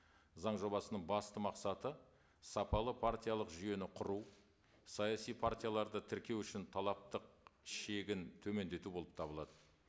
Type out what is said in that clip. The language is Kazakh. заң жобасының басты мақсаты сапалы партиялық жүйені құру саяси партияларды тіркеу үшін талаптық шегін төмендету болып табылады